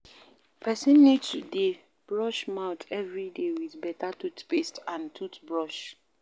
Person need to dey Brush mouth everyday with better toothpaste and toothbrush